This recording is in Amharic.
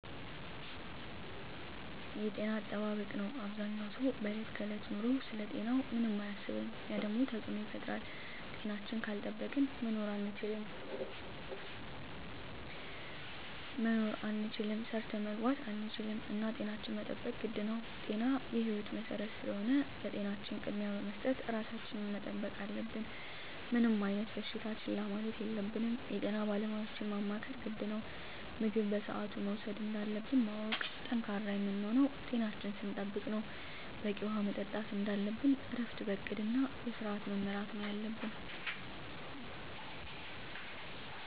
የጤና አጠባበቅ ነው አበዛኛው ሰው በዕለት ከዕለት ኑሮው ስለ ጤናው ምንም አያስብም ያ ደግሞ ተፅዕኖ ይፈጥራል። ጤናችን ካልጠበቅን መኖር አንችልም ሰርተን መግባት አንችልም እና ጤናችን መጠበቅ ግድ ነው ጤና የህይወት መሰረት ስለሆነ ለጤናችን ቅድሚያ በመስጠት ራሳችን መጠበቅ አለብን። ምንም አይነት በሽታ ችላ ማለት የለብንም የጤና ባለሙያዎችን ማማከር ግድ ነው። ምግብ በስአቱ መውሰድ እንዳለብን ማወቅ። ጠንካራ የምንሆነው ጤናችን ስንጠብቅ ነው በቂ ውሀ መጠጣት እንደለብን እረፍት በእቅድ እና በስዐት መመራት ነው የለብን